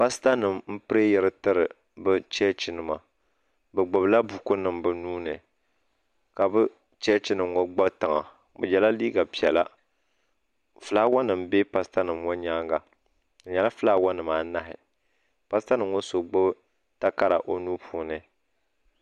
Paasita nima m pireyira n tiri bɛ Chechi nima bɛ gbibi la buku nima bɛ nuuni ka bɛ Chechi nima ŋɔ gba tiŋa bɛ yela liiga piɛla filaawa nima be paasita nima ŋɔ nyaanga fi nyɛla filaawa nima anahi paasita nima ŋɔ so gbibi takara o nuu puuni.